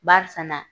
Barisa na